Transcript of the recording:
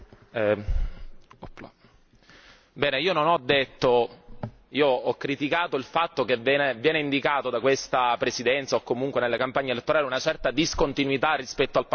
Bene, io ho criticato il fatto che viene indicata da questa Presidenza o comunque nelle campagne elettorali una certa discontinuità rispetto al passato o comunque una nuova generazione.